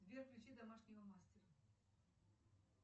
сбер включи домашнего мастера